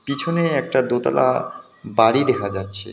পিছনে একটা দোতলা বাড়ি দেখা যাচ্ছে।